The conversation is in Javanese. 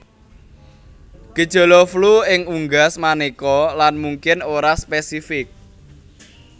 Gejala flu ing unggas manéka lan mungkin ora spésifik